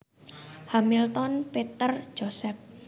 Hamilton Peter Joseph